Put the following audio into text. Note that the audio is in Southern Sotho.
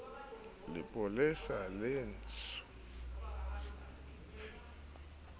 lepolesa le tsh wanetse ho